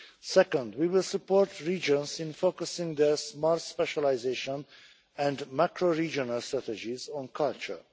Second, we will support regions in focusing their smart specialisation and macro-regional strategies on culture.